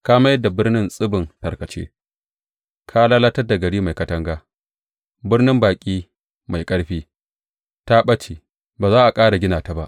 Ka mai da birnin tsibin tarkace, ka lalatar da gari mai katanga, birnin baƙi mai ƙarfi, ta ɓace; ba za a ƙara gina ta ba.